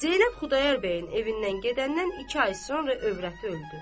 Zeynəb Xudayar bəyin evindən gedəndən iki ay sonra övrəti öldü.